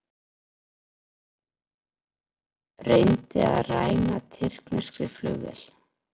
Reyndi að ræna tyrkneskri flugvél